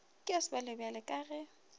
ke ya sebjalebjale ka ge